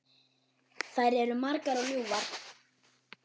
Þær eru margar og ljúfar.